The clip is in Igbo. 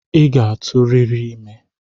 I ga-atụ riri ime!